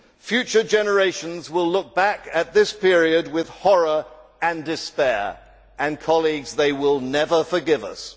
Future generations will look back at this period with horror and despair and they will never forgive us.